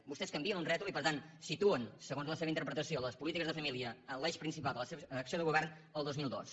vostès canvien un rètol i per tant situen segons la seva interpretació les polítiques de família en l’eix principal de la seva acció de govern el dos mil dos